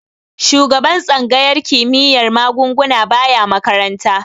Shugaban tsangayar kimiyyar magunguna baya makaranta.